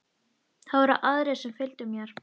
Það voru aðrir sem fylgdu mér.